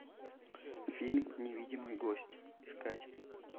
фильм невидимый гость искать